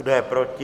Kdo je proti?